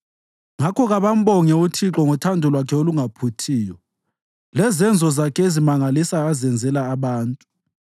Ngakho kabambonge uThixo ngothando lwakhe olungaphuthiyo lezenzo zakhe ezimangalisayo azenzela abantu,